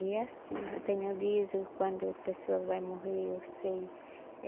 E é assim, eu tenho aviso quando a pessoa vai morrer, eu sei.